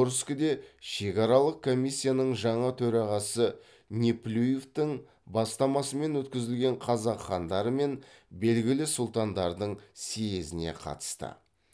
орскіде шекаралық комиссияның жаңа төрағасы неплюевтың бастамасымен өткізілген қазақ хандары мен белгілі сұлтандардың съезіне қатысты